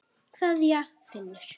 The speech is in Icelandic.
Kveðja, Finnur.